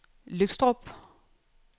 Løgstrup